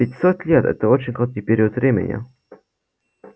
пятьсот лет это очень короткий период времени